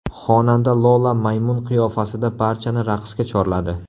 Xonanda Lola maymun qiyofasida barchani raqsga chorladi .